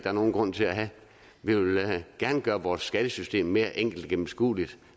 er nogen grund til at have vi vil gerne gøre vores skattesystem mere enkelt og gennemskueligt